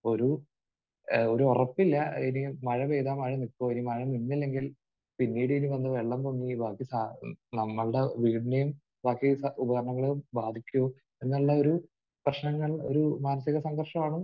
ഒരു ഏഹ് ഒരു ഉറപ്പില്ല ഇനിയും മഴ പെയ്താൽ മഴ നിൽക്കുമോ മഴ നിന്നില്ലെങ്കിൽ പിന്നീട് ഇനി വന്ന് വെള്ളം പൊങ്ങി ബാക്കി നമ്മുടെ വീടിനെയും ബാക്കി സ...ഉപകരണങ്ങളെയും ബാധിക്കുമോ എന്നുള്ളൊരു പ്രശ്നങ്ങൾ ഒരു മാനസികസംഘർഷമാണ്